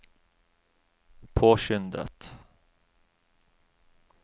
påskyndet